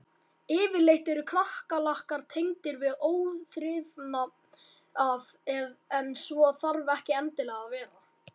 Yfirleitt eru kakkalakkar tengdir við óþrifnað en svo þarf ekki endilega að vera.